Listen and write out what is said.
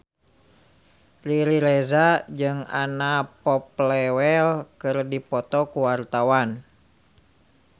Riri Reza jeung Anna Popplewell keur dipoto ku wartawan